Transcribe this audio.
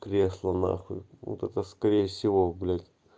кресло нахуй вот это скорее всего блять